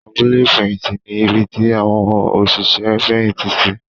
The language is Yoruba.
Abúlé ìfẹ̀yìntì ní ibi tí àwọn òṣìṣẹ́ ń fẹ̀yìntì sí.